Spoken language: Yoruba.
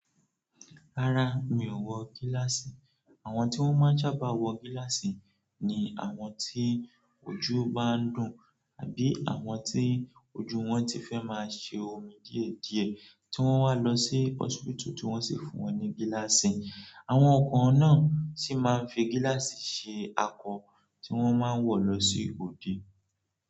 Rárá, mi ò wọ gíláàsì. Àwọn tí wọ́n máa ń sábà wọ gíláàsì ni àwọn tí ojú bá ń dùn àbí àwọn tí ojú wọn ti fẹ́ máa ṣe omi díẹ̀ díẹ̀ tí wọ́n wá lọ sí hósipítù tí wọ́n sì fún wọn ní gíláàsì. Àwọn kàn náà sì máa ń fi gíláàsì ṣe akọ tí wọ́n máa ń wọ̀ lọ sí òde.